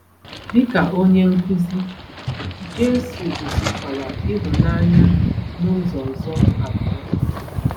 Dịka onye nkuzi, Jesu gosikwara ịhụnanya n’ụzọ ọzọ abụọ.